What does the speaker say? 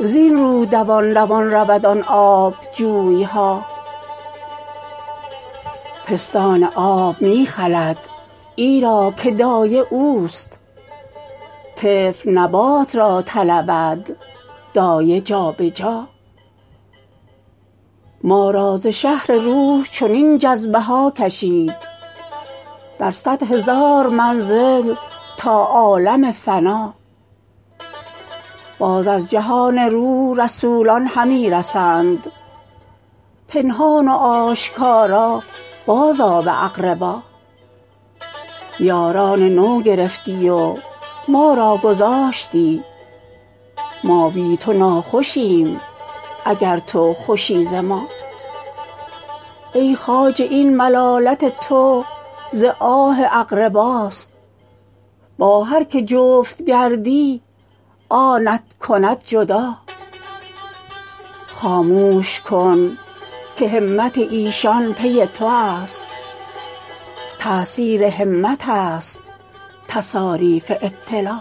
زین رو دوان دوان رود آن آب جوی ها پستان آب می خلد ایرا که دایه اوست طفل نبات را طلبد دایه جا به جا ما را ز شهر روح چنین جذب ها کشید در صد هزار منزل تا عالم فنا باز از جهان روح رسولان همی رسند پنهان و آشکار بازآ به اقربا یاران نو گرفتی و ما را گذاشتی ما بی تو ناخوشیم اگر تو خوشی ز ما ای خواجه این ملالت تو ز آه اقرباست با هر کی جفت گردی آنت کند جدا خاموش کن که همت ایشان پی توست تأثیر همت ست تصاریف ابتلا